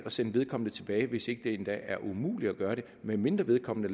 sende vedkommende tilbage hvis det endda ikke er umuligt at gøre det medmindre vedkommende